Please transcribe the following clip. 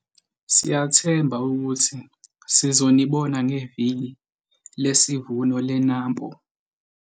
Siyathemba ukuthi sizonibona ngeViki lesiVuno leNampo!